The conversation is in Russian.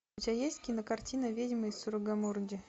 у тебя есть кинокартина ведьмы из сугаррамурди